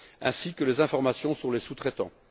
ainsi que les informations sur les sous traitants.